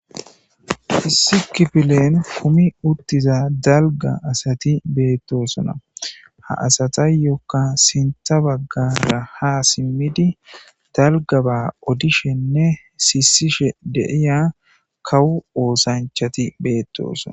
Issi kifilen kumi uttiza dalga asati beettosona. Ha asatuyyokka sintha baggara ha simmida dalgaba odishenne siissishe de'iya kawu oosanchati beettosona.